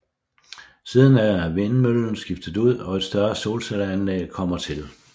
Siden er vindmøllen skiftet ud og et større solcelleanlæg kommet til